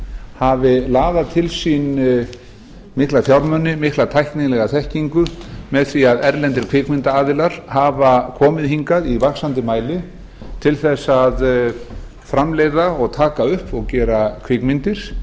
hafi laðað til sín mikla fjármuni mikla tæknilega þekkingu með því að erlendir kvikmyndaaðilar hafa komið hingað í vaxandi mæli til þess að framleiða og taka upp og gera kvikmyndir